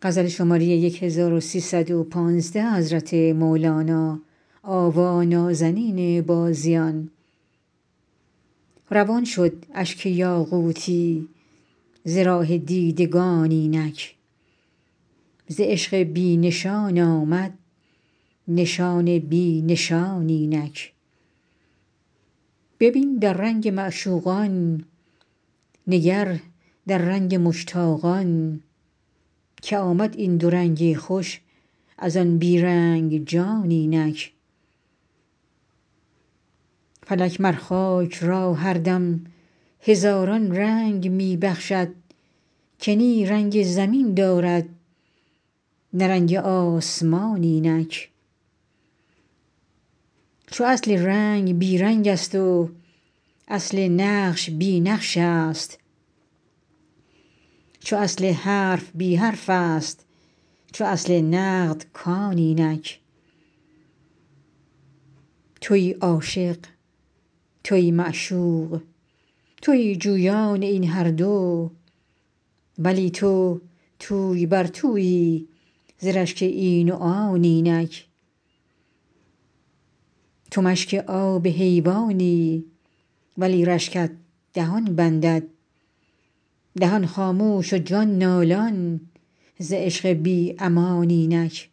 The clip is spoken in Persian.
روان شد اشک یاقوتی ز راه دیدگان اینک ز عشق بی نشان آمد نشان بی نشان اینک ببین در رنگ معشوقان نگر در رنگ مشتاقان که آمد این دو رنگ خوش از آن بی رنگ جان اینک فلک مر خاک را هر دم هزاران رنگ می بخشد که نی رنگ زمین دارد نه رنگ آسمان اینک چو اصل رنگ بی رنگست و اصل نقش بی نقشست چو اصل حرف بی حرفست چو اصل نقد کان اینک توی عاشق توی معشوق توی جویان این هر دو ولی تو توی بر تویی ز رشک این و آن اینک تو مشک آب حیوانی ولی رشکت دهان بندد دهان خاموش و جان نالان ز عشق بی امان اینک